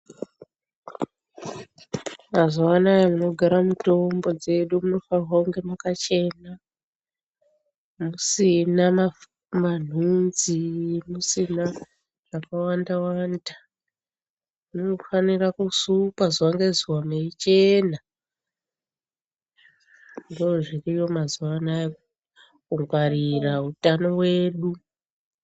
Mazuva anaya munogara mutombo dzedu munofanirwa kunge makachena musina manhunzi musina zvakawanda-wanda. Munofanira kusukwa zuva ngezuva meichena. Ndoozviriyo mazuva anaya, kungwarira utano wedu.